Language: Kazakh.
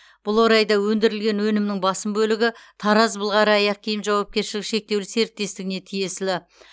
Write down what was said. бұл орайда өндірілген өнімнің басым бөлігі тараз былғары аяқ киім жауапкершілігі шектеулі серіктестігіне тиесілі